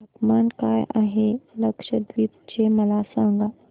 तापमान काय आहे लक्षद्वीप चे मला सांगा